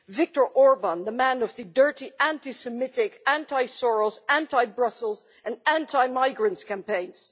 Viktor Orban, the man of the dirty anti Semitic, anti Soros, anti Brussels and anti migrants campaigns.